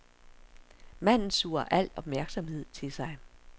Manden suger al opmærksomhed til sig.